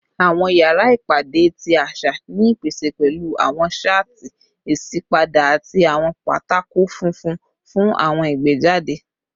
Awọn yara ipade ti aṣa ni ipese pẹlu awọn shatti isipade ati awọn pátákó funfun fun awọn igbejade